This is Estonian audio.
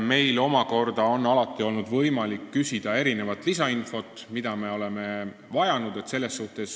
Meil omakorda on alati olnud võimalik küsida mitmesugust lisainfot, mida me oleme vajanud.